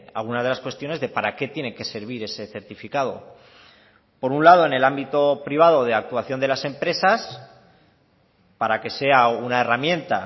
algunas de las cuestiones de para qué tiene que servir ese certificado por un lado en el ámbito privado de actuación de las empresas para que sea una herramienta